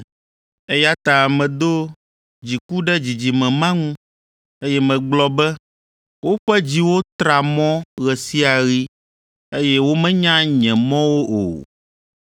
Eya ta medo dziku ɖe dzidzime ma ŋu, eye megblɔ be, ‘Woƒe dziwo tra mɔ ɣe sia ɣi, eye womenya nye mɔwo o!’